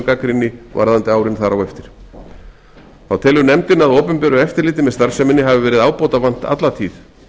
gagnrýni varðandi árin þar á eftir þá telur nefndin að opinberu eftirliti með starfseminni hafi verið ábótavant alla tíð